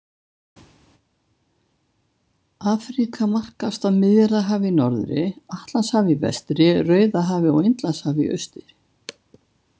Afríka markast af Miðjarðarhafi í norðri, Atlantshafi í vestri, Rauðahafi og Indlandshafi í austri.